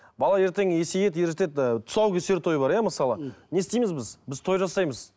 бала ертең есейеді ер жетеді ы тұсаукесер тойы бар иә мысалы не істейміз біз біз той жасаймыз